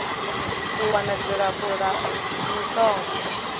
u wana dzilafho la mishonga